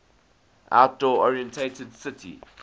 outdoor oriented city